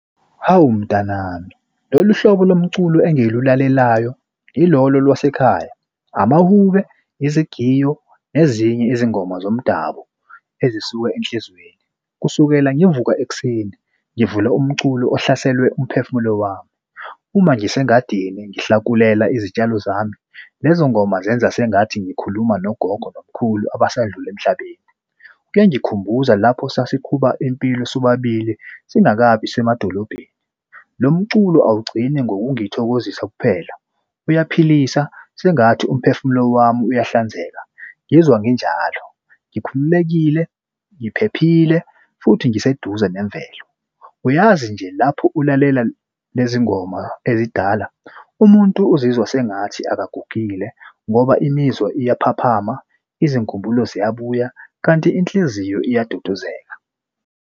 Hawu mtanami, lolu hlobo lomculo engilulalelayo ilolo lwasekhaya, amahube, izigiyo, nezinye izingoma zomdabu ezisuka enhlizweni. Kusukela ngivuka ekuseni ngivula umculo ohlaselwe umphefumulo wami. Uma ngisengadini ngihlakulela izitshalo zami lezo ngoma zenza sengathi ngikhuluma nogogo nomkhulu abasadlula emhlabeni. Kuyangikhumbuza lapho sasikhuba impilo sobabili singakabi semadolobheni. Lo mculo awugcini ngokungithokozisa kuphela uyaphilisa sengathi umphefumulo wami uyahlanzeka. Ngizwa nginjalo ngikhululekile, ngiphephile futhi ngiseduze nemvelo. Uyazi nje lapho ulalela lezi ngoma ezidala umuntu uzizwa sengathi akagugile ngoba imizwa iyaphaphama izinkumbulo ziyabuya, kanti inhliziyo iyaduduzeka.